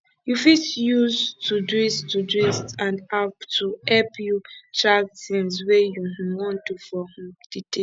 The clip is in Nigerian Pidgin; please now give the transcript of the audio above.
you fit use todoist todoist and apps to help you um track things wey you um wan do for um di day